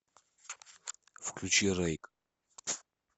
включи рейк